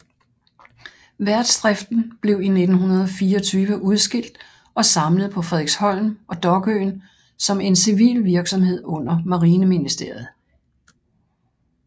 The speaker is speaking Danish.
Værftsdriften blev i 1924 udskilt og samlet på Frederiksholm og Dokøen som en civil virksomhed under Marineministeriet